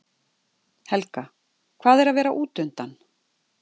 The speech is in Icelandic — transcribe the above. Helga: Hvað er að vera útundan?